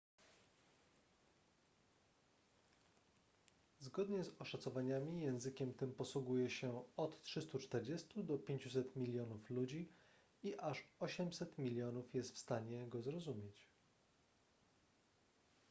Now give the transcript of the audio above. zgodnie z oszacowaniami językiem tym posługuje się od 340 do 500 milionów ludzi i aż 800 milionów jest w stanie go zrozumieć